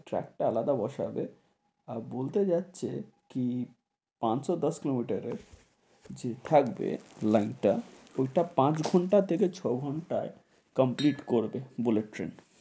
Track টা আলাদা বসবে, আর বলতে যাচ্ছে কি পাঁচশো দশ kilometer এর যে থাকবে লাইন টা, ওটা পাঁচ ঘন্টা থেকে ছ ঘন্টায় complete করবে বুলেট ট্রেন,